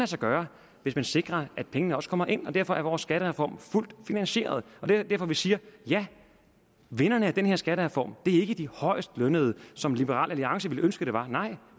sig gøre hvis man sikrer at pengene også kommer ind og derfor er vores skattereform fuldt finansieret det er derfor vi siger at vinderen af den her skattereform er de højst lønnede som liberal alliance ville ønske det var nej